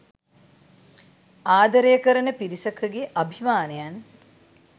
ආදරය කරණ පිරිසකගේ අභිමානයන්